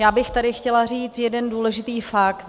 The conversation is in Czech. Já bych tady chtěla říci jeden důležitý fakt.